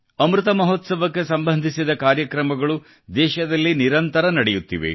ಅಮೃತ ಮಹೋತ್ಸವಕ್ಕೆ ಸಂಬಧಿಸಿದ ಕಾರ್ಯಕ್ರಮಗಳು ದೇಶದಲ್ಲಿ ನಿರಂತರ ನಡೆಯುತ್ತಿವೆ